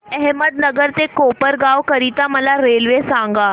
अहमदनगर ते कोपरगाव करीता मला रेल्वे सांगा